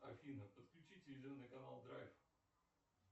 афина подключи телевизионный канал драйв